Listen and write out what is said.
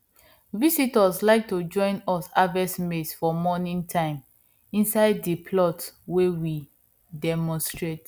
visitors like to join us harvest maize for morning time inside the plot wey we demonstrate